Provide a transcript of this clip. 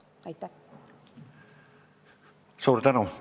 Suur tänu!